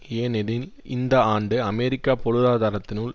ஏனெனில் இந்த ஆண்டு அமெரிக்க பொருளாதாரத்தினுள்